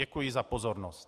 Děkuji za pozornost.